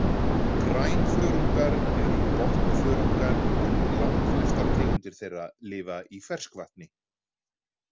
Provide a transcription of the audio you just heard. Grænþörungar eru botnþörungar en langflestar tegundir þeirra lifa í ferskvatni.